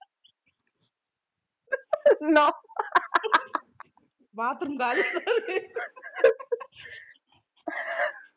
நான் bathroom காலி